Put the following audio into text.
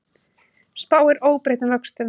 Spáir óbreyttum vöxtum